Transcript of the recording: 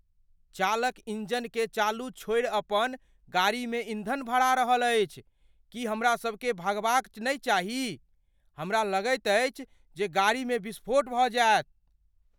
चालक इंजनकेँ चालू छोड़ि अपन गाड़ीमे ईंधन भरा रहल अछि। की हमरा सभकेँ भागबा क नहि चाही? हमरा लगैत अछि जे गाड़ीमे विस्फोट भऽ जायत।